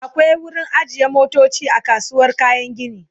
akwai wurin ajiye motoci a kasuwar kayan gini